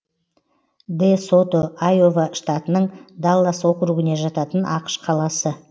дэ сото айова штатының даллас округіне жататын ақш қаласы